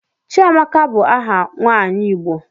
Chiamaka bu aha nwanyi igbo.